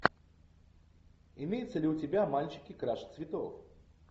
имеется ли у тебя мальчики краше цветов